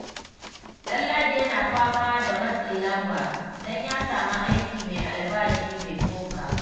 Ɗanladi yana fama da matsin lamba don ya samu aiki mai albashi mai tsoka.